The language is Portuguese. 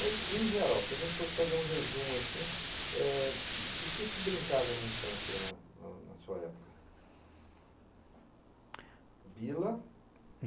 Mas, em geral, se a gente fosse fazer um resumo assim, é do que se brincava na infância e na sua época? Bila...